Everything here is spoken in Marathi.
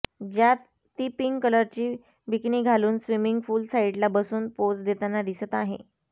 ज्यात ती पिंक कलरची बिकिनी घालून स्विमिंग पूल साइडला बसून पोझ देताना दिसत आहे